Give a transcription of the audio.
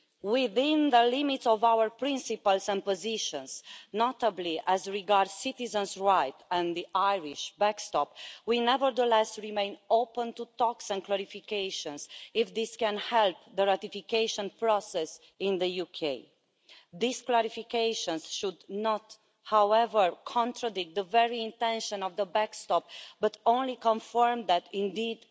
Within the limits of our principles and positions, notably as regards citizens' rights and the Irish backstop, we nevertheless remain open to talks and clarifications, if this can help the ratification process in the UK. These clarifications should not, however, contradict the very intention of the backstop, but only confirm that it is indeed